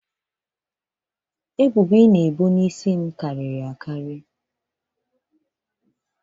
ebubo ị na-ebo m n'isi karịrị akarị